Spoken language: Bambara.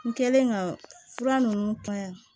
N kɛlen ka fura ninnu ta yan